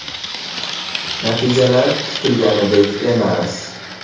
Natijalar kutilganidek emas.